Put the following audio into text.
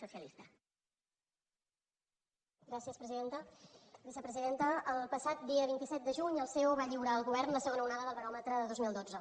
vicepresidenta el passat dia vint set de juny el ceo va lliurar al govern la segona onada del baròmetre de dos mil dotze